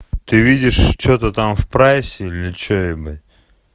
ты видишь что-то там в прайсе или что ебать